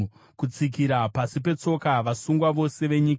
Kutsikira pasi petsoka vasungwa vose venyika,